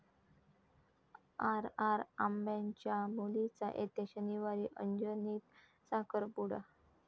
R. R. आबांच्या मुलीचा येत्या शनिवारी अंजनीत साखरपूडा